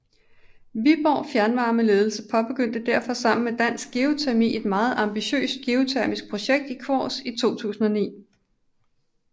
Viborg Fjernvarmes ledelse påbegyndte derfor sammen med Dansk Geotermi et meget ambitiøst geotermiprojekt i Kvols i 2009